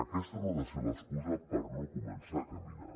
aquesta no ha de ser l’excusa per no començar a caminar